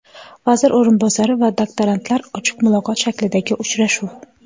Vazir o‘rinbosari va doktorantlar: ochiq muloqot shaklidagi uchrashuv.